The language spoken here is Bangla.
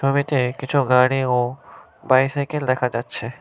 কিছু গাড়ি ও বাইসাইকেল দেখা যাচ্ছে।